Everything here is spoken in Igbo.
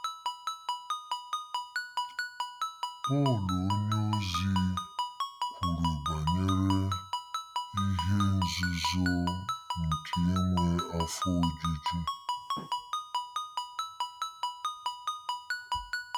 Pọl onyeozi kwuru banyere “ihe nzuzo nke inwe afọ ojuju.”